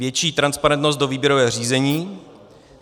Větší transparentnost do výběrového řízení.